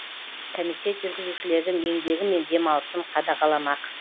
комитет жүргізушілердің еңбегі мен демалысын қадағаламақ